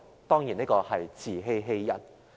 當然，這是自欺欺人。